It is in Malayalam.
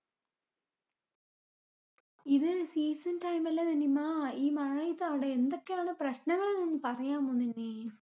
ഇത് seasontime അല്ലെ നിനിമ. ഈ മഴയത് അവടെ എന്തൊക്കെയാണ് പ്രശ്നങ്ങൾന്നു പറയാമോ നിനി.